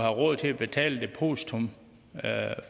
råd til at betale et depositum